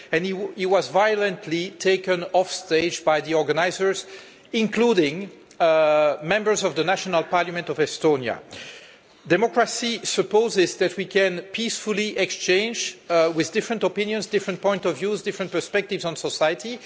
He was violently taken off stage by the organisers, including members of the National Parliament of Estonia. Democracy supposes that we can peacefully exchange different opinions, different points of view and different perspectives on society.